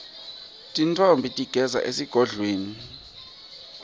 tintfombi tigidzela esigodlweni